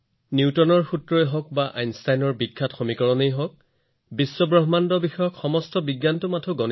নিউটনৰ সূত্ৰই হওঁক আইনষ্টাইনৰ বিখ্যাত সমীকৰণেই হওঁক বিশ্বব্ৰহ্মাণ্ডৰ সৈতে সম্পৰ্কিত সকলো বিজ্ঞান হৈছে গণিত